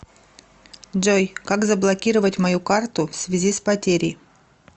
джой как заблокировать мою карту всвязи с потерей